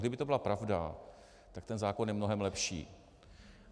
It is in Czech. Kdyby to byla pravda, tak ten zákon je mnohem lepší.